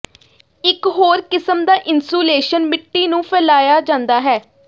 ਇਕ ਹੋਰ ਕਿਸਮ ਦਾ ਇਨਸੂਲੇਸ਼ਨ ਮਿੱਟੀ ਨੂੰ ਫੈਲਾਇਆ ਜਾਂਦਾ ਹੈ